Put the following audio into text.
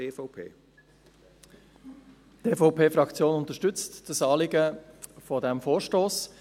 Die EVP-Fraktion unterstützt das Anliegen dieses Vorstosses.